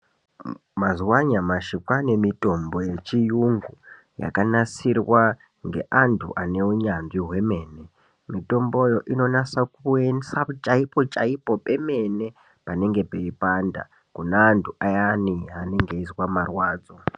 Mazuva anyamashi kwane mitombo yechiyungu yakanasirwa ngeandu ane unyanzvi hwemene. Mitomboyo inonyasa kuendesa chaipo chaipo pemene panenge peipanda kune antu ayane anenge eizwa marwadzo